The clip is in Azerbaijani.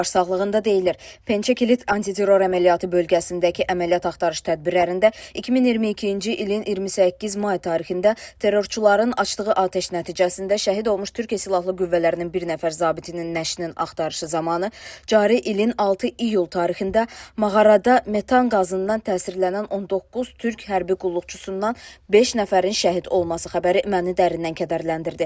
Başsağlığında deyilir: "Pençə Kilit antiterror əməliyyatı bölgəsindəki əməliyyat axtarış tədbirlərində 2022-ci ilin 28 may tarixində terrorçuların açdığı atəş nəticəsində şəhid olmuş Türkiyə Silahlı Qüvvələrinin bir nəfər zabitinin nəşinin axtarışı zamanı cari ilin 6 iyul tarixində mağarada metan qazından təsirlənən 19 türk hərbi qulluqçusundan beş nəfərin şəhid olması xəbəri məni dərindən kədərləndirdi."